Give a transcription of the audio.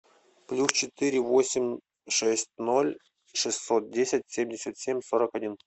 плюс четыре восемь шесть ноль шестьсот десять семьдесят семь сорок один